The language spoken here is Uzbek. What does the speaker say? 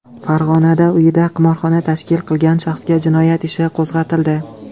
Farg‘onada uyida qimorxona tashkil qilgan shaxsga jinoyat ishi qo‘zg‘atildi.